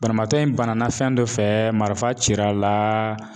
Banabaatɔ in bana na fɛn dɔ fɛ marifa cir'a la